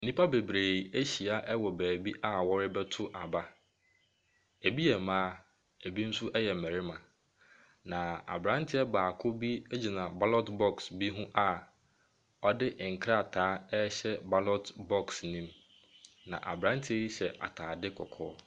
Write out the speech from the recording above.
Nnipa bebree ahyia beebi a wɔrebɛto aba. Ɛbi yɛ mmaa, ɛbi nso yɛ mmarima. Na aberanteɛ baako bi gyina ballot box bi ho a ɔde nkrataa ɛrehyɛ ballot box ne mu. Na aberanteɛ yi hyɛ ataade kɔkɔɔ.